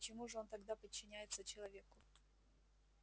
почему же он тогда подчиняется человеку